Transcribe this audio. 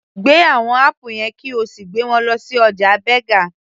Gbé àwọn apple yẹn kí o sì gbé wọn lọ sí ọjà Berger